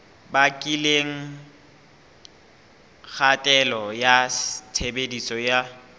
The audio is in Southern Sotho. bakileng kgatello ya tshebediso ya